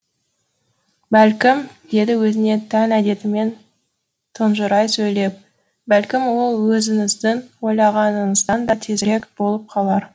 бәлкім деді өзіне тән әдетімен тұнжырай сөйлеп бәлкім ол өзіңіздің ойлағаныңыздан да тезірек болып қалар